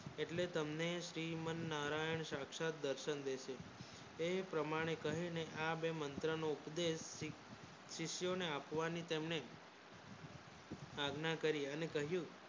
એટલે તમને શ્રીમન નારાયણ તમે સાક્ષાત દર્શન દેતો તે પ્રમાણે આ બે મંત્રો ને ઉપદેશ શીખ શિષ્યો ને આપવાની તમને આજ્ઞા કરી અને કહ્યું